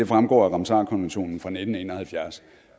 fremgår af ramsarkonventionen fra nitten en og halvfjerds